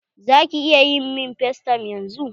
Za ki iya min facetime yanzun?